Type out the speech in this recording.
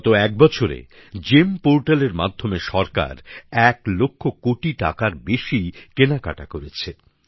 গত এক বছরে জিইএম পোর্টালএর মাধ্যমে সরকার এক লক্ষ কোটি টাকার বেশি কেনাকাটা করেছে